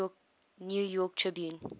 new york tribune